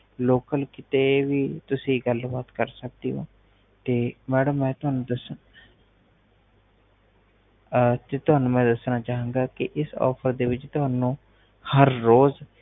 local ਕੀਤੇ ਵੀ ਤੁਸੀ ਗੱਲਬਾਤ ਕਰ ਸਕਦੈ ਹੋ ਤੇ ਮੈਡਮ ਮੈ ਤੁਹਾਨੂੰ ਦੱਸਣਾ ਚਾਵਾਂ ਗਾ ਕਿ ਇਸ ਆਫ਼ਰ ਦੇ ਵਿਚ ਤੁਹਾਨੂੰ ਹਰ ਰੋਜ